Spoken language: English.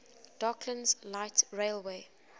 docklands light railway